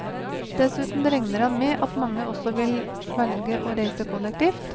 Dessuten regner han med at mange også vil velge å reise kollektivt.